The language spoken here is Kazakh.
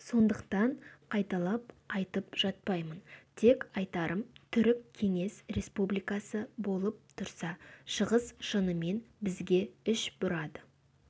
сондықтан қайталап айтып жатпаймын тек айтарым түрік кеңес республикасы болып тұрса шығыс шынымен бізге іш бұрады